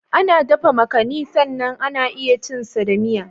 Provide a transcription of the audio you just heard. Ana dafa makani sannan ana iya cin sa da miya.